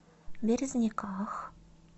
березниках